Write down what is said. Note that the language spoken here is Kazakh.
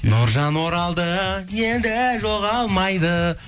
нұржан оралды енді жоғалмайды